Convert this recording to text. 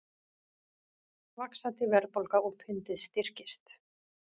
Vaxandi verðbólga og pundið styrkist